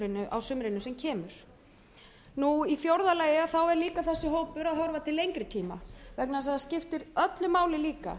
á sumrinu sem kemur í fjórða lagi er þessi hópur líka að horfa til lengri tíma vegna þess að það skiptir öllu máli líka